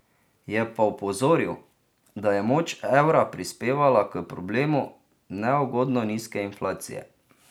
Je pa opozoril, da je moč evra prispevala k problemu neugodno nizke inflacije.